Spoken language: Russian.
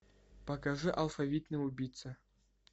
покажи алфавитный убийца